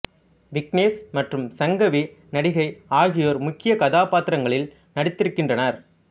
விக்னேஷ் மற்றும் சங்கவி நடிகை ஆகியோர் முக்கிய கதாபாத்திரங்களில் நடித்திருக்கின்றனர்